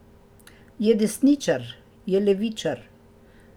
Je desničar, je levičar.